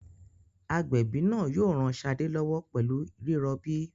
Agbẹ̀bí náà yóò ran Ṣadé lọ́wọ́ pẹ̀lú rírọbí.